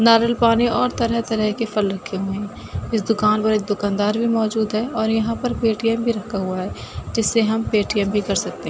नारियल पानी और तरह-तरह के फल रखे हुए हैं। इस दुकान पर एक दुकानदार भी मौजूद है और यहां पर पेटीएम भी रखा हुआ है जिससे हम पेटीएम भी कर सकते हैं।